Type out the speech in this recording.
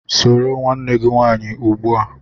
Soro nwanne gị nwaanyị ugbu a!